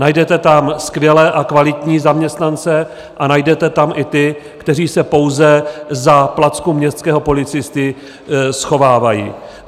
Najdete tam skvělé a kvalitní zaměstnance a najdete tam i ty, kteří se pouze za placku městského policisty schovávají.